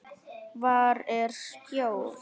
Hvar er skjól?